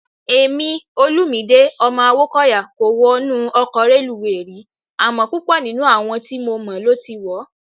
Èmi, Olumide ọmọ Awókọ̀yà kò wọnú ọkọ̀ reluwé rí, àmọ́ púpọ̀ nínú àwọn tí mo mọ̀ ló ti wọ̀ ọ́.